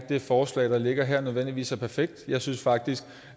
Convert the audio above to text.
det forslag der ligger her nødvendigvis er perfekt jeg synes faktisk